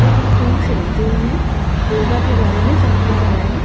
और एक पुरुष है जो उन्हें योगा के बारे में समझा रहा है।